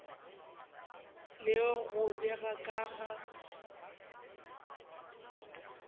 le go bega ka ga